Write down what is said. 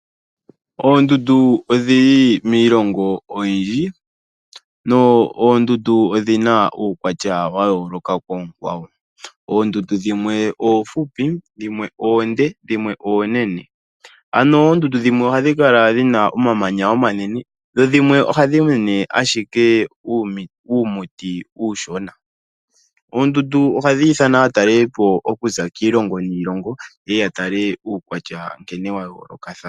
Oondundu odhili miilongo oyindji na odhina uukwatya wayooloka koonkwawo. Oondundu dhimwe oomfupi dhimwe oonde dhimwe oonene. Ano oondundu dhimwe ohadhi kala dhina omamanya omanene dho dhimwe ohadhi mene ashike uumuti uushona . Oondundu ohadhi ithana aatalelipo okuza kiilongo niilongo yeye yatale uukwatya nkene wayoolokathana.